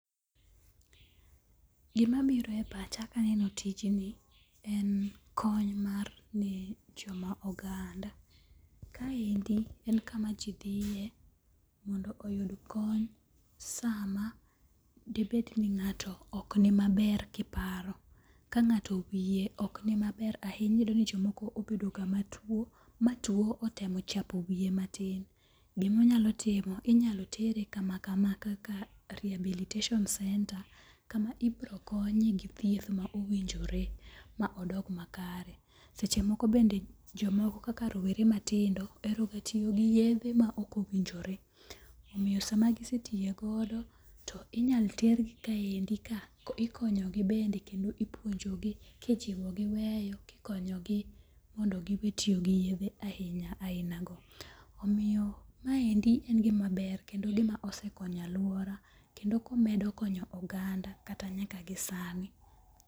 Gima biro e pacha kaneno tijni en kony mar ne joma oganda. Kaendi en kama ji dhiye mondo oyud kony sama dibed ni ng'ato ok ni maber kiparo. Ka ng'ato wiye ok ni maber ahinya. Iyudo ni jomoko obedo ga matuo ma tuo otemo chapo wiye matin. Gimonyalo timo inyalo tere kama kama kaka rehabilitation center kama ibiro konye gi thieth mowinjore ma odok makare. Seche moko bende jomoko kaka rawere matindo ohero tiyo gi yedhe ma ok owinjore. Omiyo sama gisetiyogodo to inyal ter gi kaendi ka ikonyo gi bende kendo ipuonjogi kijiwogi weyo kikonyogi mondo gi we tiyo gi yethe ahinya aina go. Omiyo maendi en gima ber kendo gima osekonyo aluora kendo komedo konyo oganga kata nyaka gisani.